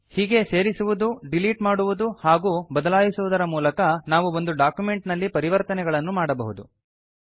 ಹೀಗೆಯೇ ಸೇರಿಸುವುದು ಡೀಲೀಟ್ ಮಾಡುವುದು ಹಾಗೂ ಬದಲಾಯಿಸುವುದರ ಮೂಲಕ ನಾವು ಒಂದು ಡಾಕ್ಯುಮೆಂಟ್ ನಲ್ಲಿ ಪರಿವರ್ತನೆಗಳನ್ನು ಮಾಡಬಹುದು